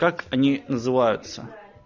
как они называются